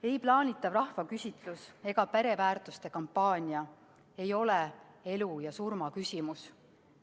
Ei plaanitav rahvaküsitlus ega pereväärtuste kampaania ei ole elu ja surma küsimus.